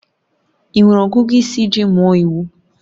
Ị nwere ọgụgụ isi iji mụọ iwu?